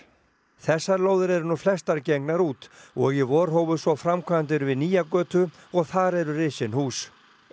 þessar lóðir eru nú flestar gengnar út og í vor hófust svo framkvæmdir við nýja götu og þar eru risin hús